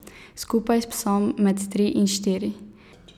Skupaj s psom med tri in štiri.